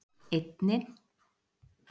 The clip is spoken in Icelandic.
einni